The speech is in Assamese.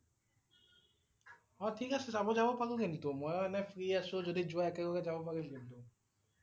অ' ঠিক আছে চাব যাব পাৰো কিন্তু, মই এনে ফ্ৰী আছোঁ যদি যোৱা একেলগে যাব পাৰিম কিন্তু